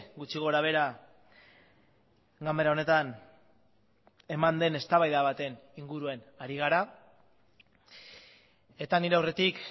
gutxi gorabehera ganbara honetan eman den eztabaida baten inguruan ari gara eta nire aurretik